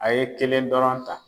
A ye kelen dɔrɔn ta